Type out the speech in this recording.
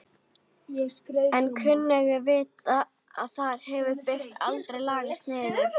En kunnugir vita að þar hefur byggð aldrei lagst niður.